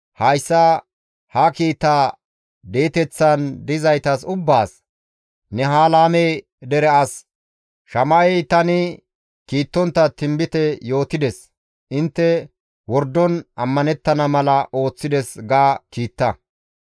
«Hayssa ha kiitaa di7eteththan dizaytas ubbaas, ‹Nehelaame dere as Shama7ey tani kiittontta tinbite yootides; intte wordon ammanettana mala ooththides› ga kiita.